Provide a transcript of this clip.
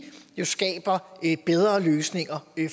jo skaber bedre løsninger